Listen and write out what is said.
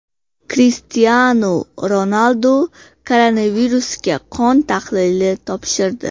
Krishtianu Ronaldu koronavirusga qon tahlili topshirdi.